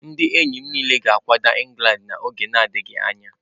Ndị enyi m niile ga-akwaga England n'oge na-adịghị anya.